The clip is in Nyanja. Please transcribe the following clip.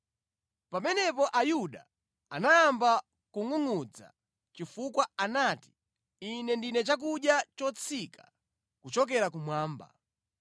Pamenepo Ayuda anayamba kungʼungʼudza chifukwa anati, “Ine ndine chakudya chotsika kuchokera kumwamba.”